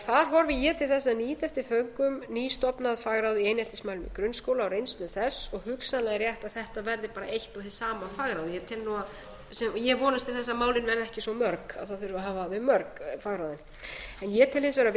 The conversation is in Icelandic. þar horfi ég til þess að nýta eftir föngum nýstofnað fagráð í eineltismálum í grunnskóla og reynslu þess og hugsanlega rétt að þetta verði bara eitt og hið sama fagráð ég vonast til þess að málin verði ekki svo mörg að það þurfi að hafa þau mörg fagráð ég tel hins vegar